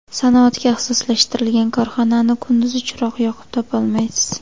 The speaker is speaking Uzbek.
Sanoatga ixtisoslashtirilgan korxonani kunduzi chiroq yoqib topolmaysiz.